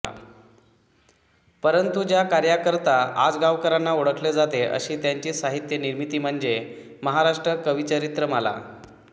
परंतु ज्या कार्याकरता आजगावकरांना ओळखले जाते अशी त्यांची साहित्यनिर्मिती म्हणजे महाराष्ट्र कविचरित्रमाला